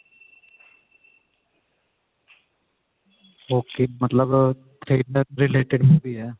ok ਮਤਲਬ thriller related movie ਏ